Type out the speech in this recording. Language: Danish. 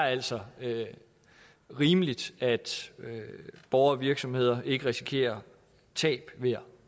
altså er rimeligt at borgere og virksomheder ikke risikerer tab ved at